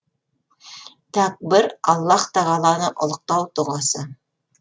тәкбір аллаһ тағаланы ұлықтау дұғасы